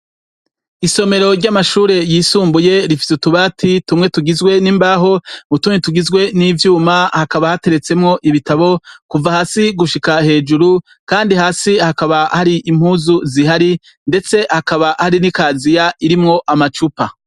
Isomero ry'amashure yisumbuye rifise utubati tumwe tugizwe n'imbaho, utundi tugizwe n'ivyuma. Hakaba hateretsemwo ibitabo kuva hasi gushika hejuru, kandi hasi hakaba hari impuzu zihari; ndetse hakaba hari n'ikaziya irimwo amacupa.